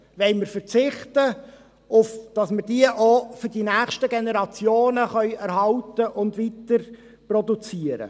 Wollen wir darauf verzichten, diese auch für die nächsten Generationen zu erhalten und weiterproduzieren?